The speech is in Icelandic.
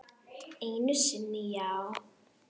Einu sinni já.